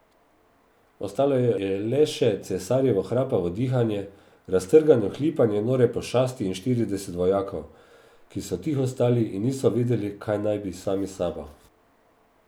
Ostalo je le še cesarjevo hrapavo dihanje, raztrgano hlipanje nore pošasti in štirideset vojakov, ki so tiho stali in niso vedeli, kaj bi sami s sabo.